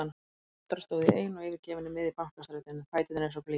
Í næstu andrá stóð ég ein og yfirgefin í miðju Bankastræti, fæturnir eins og blý.